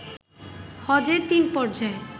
হজে তিন পর্যায়ে